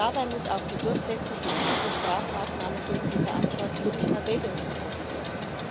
Dabei muss auch die Durchsetzung gezielter Strafmaßnahmen gegen die Verantwortlichen in Erwägung gezogen werden.